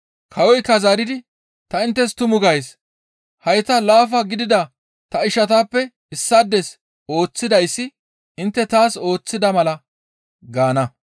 Kawoykka zaaridi, ‹Ta inttes tumu gays; hayta laafa gidida ta ishatappe issaades ooththidayssi intte taas ooththida mala› gaana.